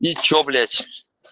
и что блять